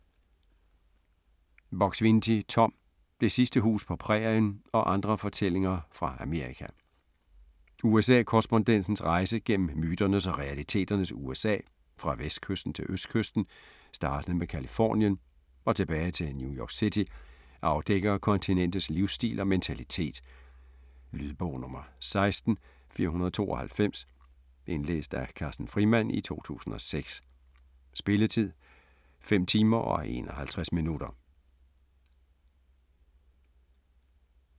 Buk-Swienty, Tom: Det sidste hus på prærien: og andre fortællinger fra Amerika USA-korrespondentens rejse gennem myternes og realiteternes USA, fra vestkysten til østkysten startende med Californien og tilbage til New York City, afdækker kontinentets livsstil og mentalitet. Lydbog 16492 Indlæst af Carsten Frimand, 2006. Spilletid: 5 timer, 51 minutter.